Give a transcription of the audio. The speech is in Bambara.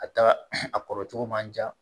A ta a kɔrɔ cogo man ja